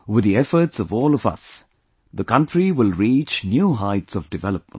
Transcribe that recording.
With the efforts of all of us, the country will reach new heights of development